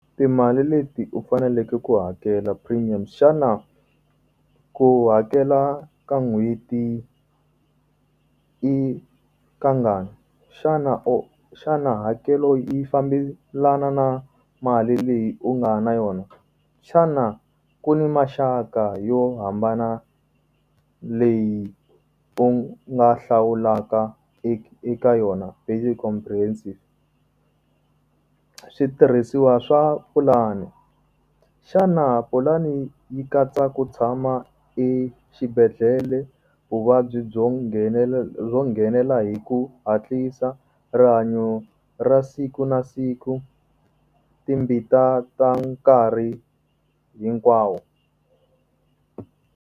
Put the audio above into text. Timali leti u faneleke ku hakela premium xana ku hakela ka n'hweti yi ka ngani xana u xana hakelo i fambelana na mali leyi u nga na yona xana ku ni maxaka yo hambana leyi u nga hlawulaka eka yona . Switirhisiwa swa pulani xana pulani yi katsa ku tshama exibedhlele vuvabyi byo byo nghenela hi ku hatlisa rihanyo ra siku na siku timbita ta nkarhi hinkwawo.